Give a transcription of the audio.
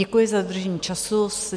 Děkuji za dodržení času.